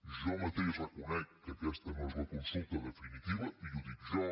jo mateix reconec que aquesta no és la consulta definitiva i ho dic jo